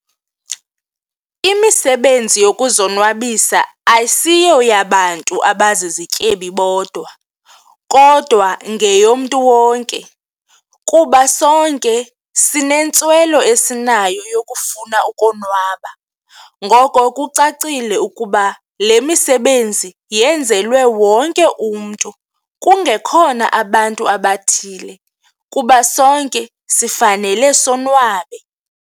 Imisebenzi yokuzonwabisa asiyoyabantu abazizityebi bodwa kodwa ngeyomntu wonke kuba sonke sinentswelo esinayo yokufuna ukonwaba. Ngoko kucacile ukuba le misebenzi yenzelwe wonke umntu kungekhona abantu abathile kuba sonke sifanele sonwabe.